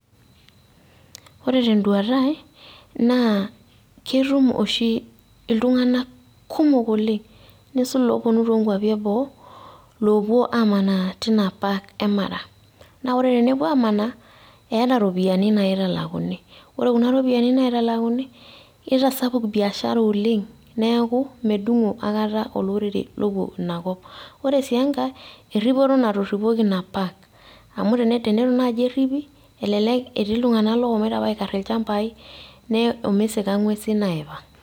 Ore teduata ai, naa ketum oshi iltung'anak kumok oleng', neisul loponu tokwapi eboo, loopuo amanaa teina park emara. Na ore tenepuo amanaa, eeta iropiyiani naitalakuni. Ore kuna ropiyaiani naitalakuni, nitasapuk biashara oleng', neeku medung'o akata olorere lupuo inakop. Ore si enkae, erripoto natorripoki ina park. Amu teneitu naji erripi, elelek etii ililtung'anak looshomoita apa aikarr ilchambai, omeisika ing'uesin aipang'.